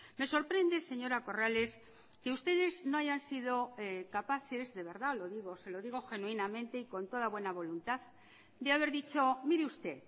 me sorprende señora corrales que ustedes no hayan sido capaces de verdad lo digo se lo digo genuinamente y con toda buena voluntad de haber dicho mire usted